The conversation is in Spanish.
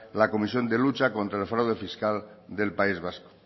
la comisión de lucha contra el fraude fiscal del país vasco